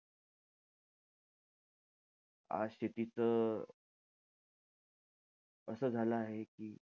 आज शेतीचं असं झालं आहे कि,